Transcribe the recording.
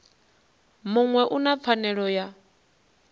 muṅwe u na pfanelo ya